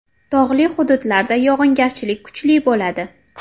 Tog‘li hududlarda yog‘ingarchilik kuchli bo‘ladi.